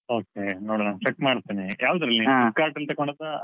Okay ನೋಡೋಣ check ಮಾಡ್ತೇನೆ. Flipkart ಅಲ್ಲಿ ತಕೊಂಡದ್ದಾ ಅಲ್ಲ?